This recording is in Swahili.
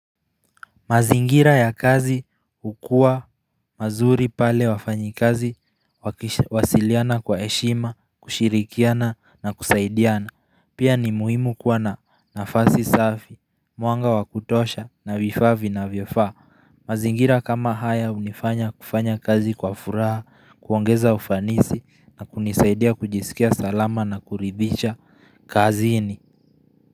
Mazingira ya kazi hukua mazuri pale wafanyikazi, wakiwasiliana kwa eshima, kushirikiana nakusaidiana, pia ni muhimu kuwa na nafasi safi, mwanga wakutosha na vifaa vinavyofaa mazingira kama haya unifanya kufanya kazi kwa furaha, kuongeza ufanisi na kunisaidia kujisikia salama na kuridhisha kazini.